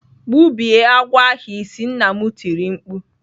"Gbubie agwọ ahu isi!" Nna m tiri mkpu.